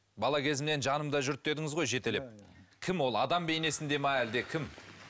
бала кезімнен жанымда жүрді дедіңіз ғой жетелеп кім ол адам бейнесінде ме әлде кім